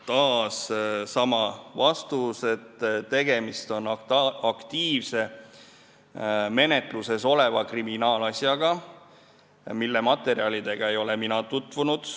Taas sama vastus: tegemist on aktiivse, menetluses oleva kriminaalasjaga, mille materjalidega ei ole ma tutvunud.